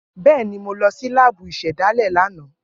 Bẹẹni, Mo lọ si laabu isedale lana.